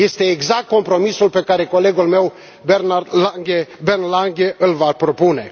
Este exact compromisul pe care colegul meu, Bernd Lange, îl va propune.